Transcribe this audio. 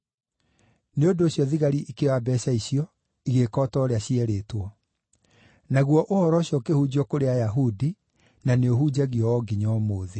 Nĩ ũndũ ũcio thigari ikĩoya mbeeca icio, igĩĩka o ta ũrĩa cierĩtwo. Naguo ũhoro ũcio ũkĩhunjio kũrĩ Ayahudi, na nĩũhunjagio o nginya ũmũthĩ.